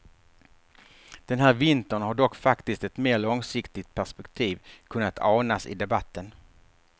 Den här vintern har dock faktiskt ett mer långsiktigt perspektiv kunnat anas i debatten.